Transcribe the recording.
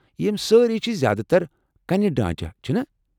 یم سٲری چھ زیٛادٕ تر کنہِ ڈانٛچہ، چھِنا؟